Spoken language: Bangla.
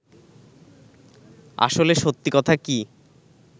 আসলে সত্যি কথা কী